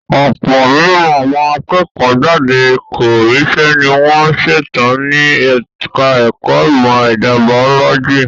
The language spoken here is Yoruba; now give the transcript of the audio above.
Ọ̀pọ̀ nínú àwọn akẹ́kọ̀ọ́ jáde tí kò ríṣẹ́ ní wọ́n ṣetán ní ẹka ẹ̀kọ́ ìmọ̀ ẹ̀dà bàólọ́jì.